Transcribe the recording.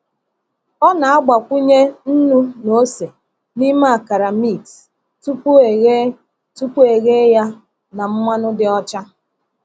Ọ na-agbakwunye nnu na ose n’ime akara mix tupu eghe tupu eghe ya na mmanụ dị ọcha.